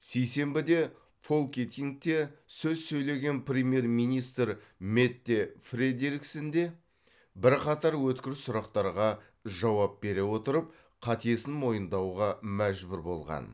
сейсенбіде фолькетингте сөз сөйлеген премьер министр метте фредериксен де бірқатар өткір сұрақтарға жауап бере отырып қатесін мойындауға мәжбүр болған